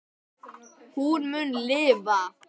Hún mun lifa.